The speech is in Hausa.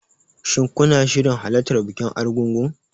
Shin kuna shirin halartar bikin Argungu?